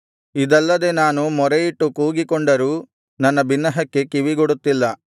ಇದಲ್ಲದೆ ನಾನು ಮೊರೆಯಿಟ್ಟು ಕೂಗಿಕೊಂಡರೂ ನನ್ನ ಬಿನ್ನಹಕ್ಕೆ ಕಿವಿಗೊಡುತ್ತಿಲ್ಲ